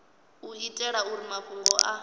u itela uri mafhungo a